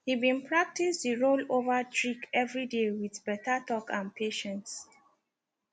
he been practice the roll over trick everyday with better talk and patience